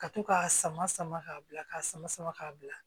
Ka to k'a sama sama ka bila ka sama sama ka bila